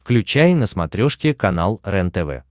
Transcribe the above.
включай на смотрешке канал рентв